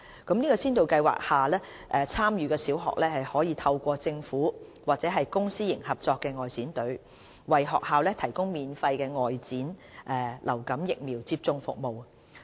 在先導計劃下，參與的小學可透過政府或公私營合作外展隊，為學校提供免費的外展流感疫苗接種服務。